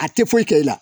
A tɛ foyi kɛ i la